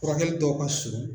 Furakɛli tɔw ka surun.